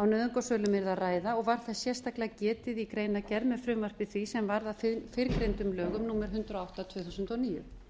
á nauðungarsölum yrði að ræða og var þess sérstaklega getið í greinargerð með frumvarpi því sem varð að fyrrgreindum lögum númer hundrað og átta tvö þúsund og níu